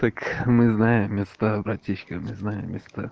так мы знаем места братишка мы знаем места